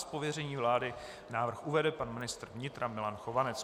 Z pověření vlády návrh uvede pan ministr vnitra Milan Chovanec.